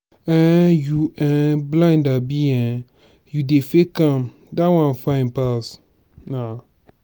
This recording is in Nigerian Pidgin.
um you um blind abi um you dey fake am dat one fine pass na.